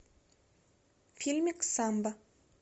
фильмик самбо